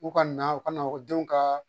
U ka na u ka na ekɔlidenw ka